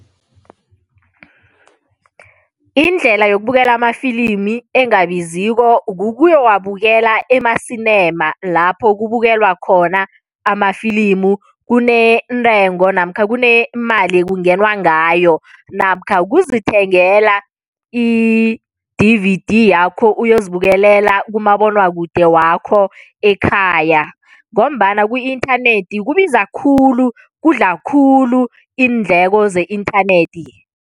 Indlela yokubukela amafilimi engabiziko kukuyowabukela ema-Cinema lapho kubukelwa khona amafilimu. Kunentengo namkha kunemali ekungenwa ngayo namkha kuzithengela i-D_V_D yakho uyozibekelela kumabonwakude wakho ekhaya ngombana ku-inthanethi kubiza khulu, kudla khulu iindleko ze-inthanethi.